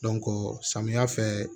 samiya fɛ